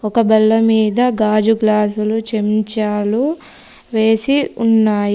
ఒక బల్ల మీద గాజు గ్లాసు లు చెంచాలు వేసి ఉన్నాయి.